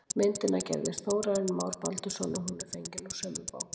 Myndina gerði Þórarinn Már Baldursson og hún er fengin úr sömu bók.